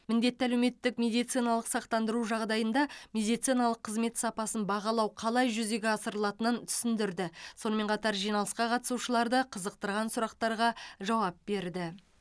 міндетті әлеуметтік медициналық сақтандыру жағдайында медициналық қызмет сапасын бағалау қалай жүзеге асырылатынын түсіндірді сонымен қатар жиналысқа қатысушыларды қызықтырған сұрақтарға жауап берді